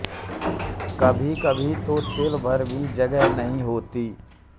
कभी कभी तो तिल भर भी जगह नहीं होती